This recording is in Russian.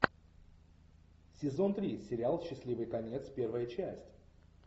сезон три сериал счастливый конец первая часть